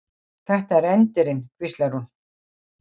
Þetta er endirinn, hvíslar hún.